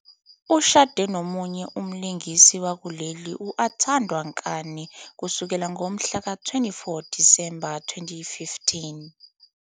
Ushade nomunye umlingisi wakuleli u- Atandwa Kani kusukela ngomhlaka-24 Disemba 2015.